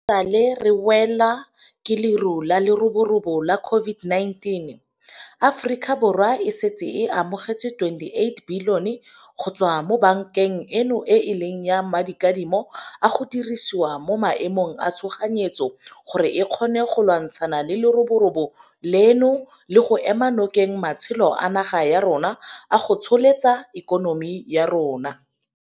Fa e sale re welwa ke leru la leroborobo la COVID-19, Aforika Borwa e setse e amogetse R28 billione go tswa mo bankeng eno e e leng ya Madikadimo a go Dirisiwa mo Maemong a Tshoganyetso gore e kgone go lwantshana le leroborobo leno le go ema nokeng matsholo a naga ya rona a go tsosolosa ikonomi ya rona.